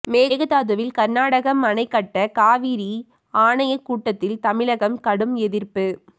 மேகதாதுவில் கர்நாடகம் அணை கட்ட காவிரி ஆணைய கூட்டத்தில் தமிழகம் கடும் எதிர்ப்பு